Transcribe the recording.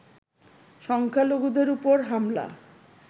সংখ্যালঘুদের ওপর হামলা